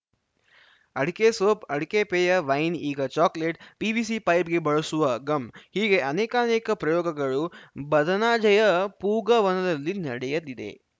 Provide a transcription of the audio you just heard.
ಅಡಕೆ ಸೋಪ್‌ ಅಡಕೆ ಪೇಯ ವೈನ್‌ ಈಗ ಚಾಕೊಲೇಟ್‌ ಪಿವಿಸಿ ಪೈಪ್‌ಗೆ ಬಳಸುವ ಗಮ್‌ ಹೀಗೆ ಅನೇಕಾನೇಕ ಪ್ರಯೋಗಗಳು ಬದನಾಜೆಯ ಪೂಗವನದಲ್ಲಿ ನಡೆಯಲ್ಲಿದೆ